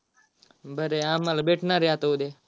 बर आहे आम्हाला भेटणार आहे आता उद्या.